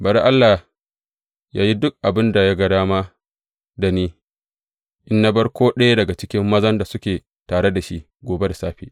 Bari Allah yă yi duk abin da ya ga dama da ni in na bar ko ɗaya daga mazan da suke da tare shi, gobe da safe.